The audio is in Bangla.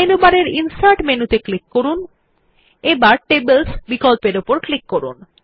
মেনুবার এর ইনসার্ট মেনুত়ে ক্লিক করুন এবং টেবলস বিকল্পর উপর ক্লিক করুন